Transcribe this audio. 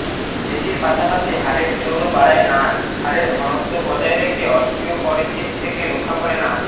পেশীর পাশাপাশি হাড়ের জোরও বাড়ায় নাচ হাড়ের ঘনত্ব বজায় রেখে অস্টিওপরেসিস থেকে রক্ষা করে নাচ